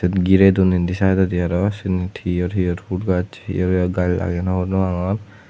girey don indi saaidodi arow senit hi or hi or pul gaj hi or hi or gaj lageyon hobor pangor.